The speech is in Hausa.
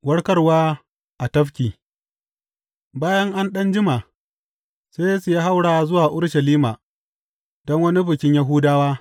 Warkarwa a tafki Bayan an ɗan jima, sai Yesu ya haura zuwa Urushalima don wani bikin Yahudawa.